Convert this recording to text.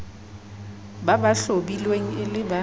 ba hlahlobilweng e le ba